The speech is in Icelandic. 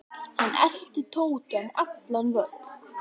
Hann elti Tóta um allan völl.